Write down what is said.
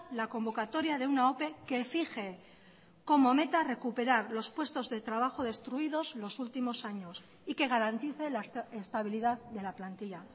la convocatoria de una ope que fije como meta recuperar los puestos de trabajo destruidos los últimos años y que garantice la estabilidad de la plantilla